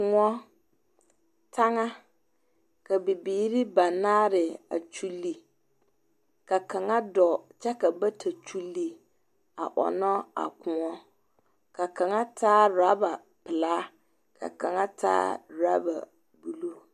Laa, taŋa, ka bibiiri banaare a kyuli. Ka kaŋa a dͻͻ kyԑ ka bata a kyuli a ͻnnͻ a kõͻ. Ka kaŋa taa oraba pelaa, ka kaŋa ta aoraba buluu.